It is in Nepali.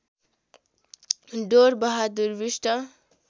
डोर बहादुर विष्ट